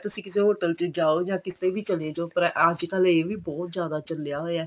ਤੁਸੀਂ ਕਿਸੇ hotel ਚ ਜਾਓ ਜਾਂ ਕੀਤੇ ਵੀ ਚਲੇ ਜਾਓ ਪਰ ਅੱਜਕਲ ਇਹ ਵੀ ਬਹੁਤ ਜਿਆਦਾ ਚੱਲਿਆ ਹੋਇਆ